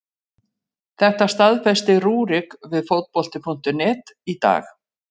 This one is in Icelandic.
Þetta staðfesti Rúrik við Fótbolti.net í dag.